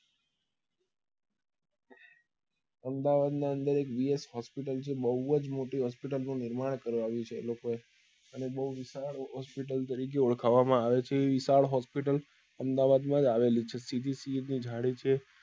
અમદાવાદ ની અંદર એક VShospital છે બઉ જ મોટી hospital નું નિર્માણ કરાવ્યું છે એ લોકો એ અને બઉ વિશાલ hospital તરીકે ઓળખવા માં આવે છે એ વિશાલ hospital અમદાવાદ માં જ આવેલી છે સીધી સઈદ ની જાળી છે